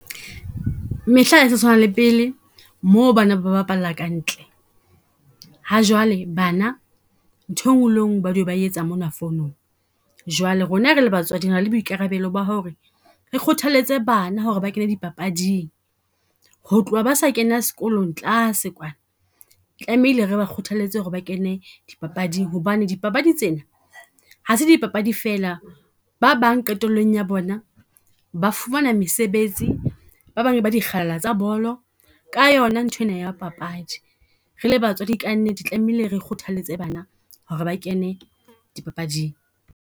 Mehla ha e sa tshwana le pele, moo bana ba bapala ka ntle. Ha jwale bana nthwe le ngwe ba dula ba e etsa mona phone-ong. Jwale rona re le batswadi re na le boikarabelo ba ho re, re kgothaletse bana ho re ba kene dipapading. Ho tloha ba sa kena sekolong tlase, tlamehile re ba kgothalletse ho re ba kene dipapadi hobane, dipapadi tsena, ha se di papadi fela. Ba bang qetellong ya bona ba fumana mesebetsi, ba bang e ba dikgalala tsa bolo ka yo na nthwena ya papadi. Re le batswadi ka nnete tlamehile re kgothaletse bana ho ba kene dipapading.